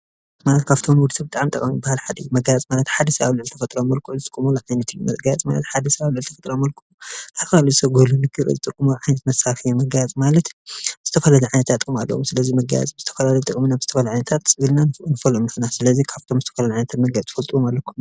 መጋየፂ ካብቶም ብጣዕሚ ሓደ ሰብ ኣብ ልዕሊ ተፈጥራዊ መልክዑ ዝጥቀመሎም መልክዕ ካብ ንወዲ ሰብ ብጣዕሚ ጠቐምቲ ዝባሃሉ መጋየፂ ማለት ዝተፈላለዩ ዓይነታት ጥቅምታት ኣለዎ፡፡ ስለዚ ካብ ዝተፈላለዩ ጥቅምታት ትፈልጥዎም ኣለው ዶ ?